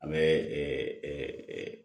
An bɛ